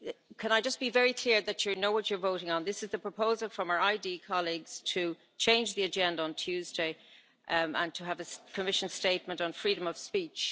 Can I just be very clear that you know what you are voting on this is the proposal from our ID colleagues to change the agenda on Tuesday and to have a Commission statement on freedom of speech.